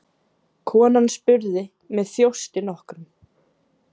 Konan spurði með þjósti nokkrum